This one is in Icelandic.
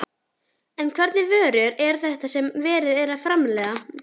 En hvernig vörur eru þetta sem verið er að framleiða?